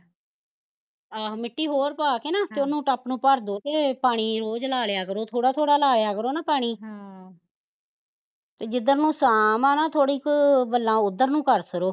ਆਹੋ ਮਿੱਟੀ ਹੋਰ ਪਾਕੇ ਨਾ ਹਮ ਤੇ ਉਹਨੂੰ ਟਬ ਨੂੰ ਭਰਦੋ ਤੇ ਪਾਣੀ ਰੋਜ਼ ਲਾਲਿਆ ਕਰੋ ਥੋੜਾ ਥੋੜਾ ਲਾਇਆ ਕਰੋ ਨਾ ਪਾਣੀ ਜਿੱਧਰ ਨੂੰ ਸਾਮ ਆ ਨਾ ਥੋੜੀ ਕੁ, ਵੱਲਾਂ ਓਧਰ ਨੂੰ ਕਰ ਛੱਡੋ